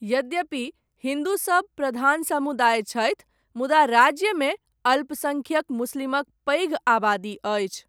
यद्यपि हिन्दू सब प्रधान समुदाय छथि, मुदा राज्यमे अल्पसङ्ख्यक मुस्लिमक पैघ आबादी अछि।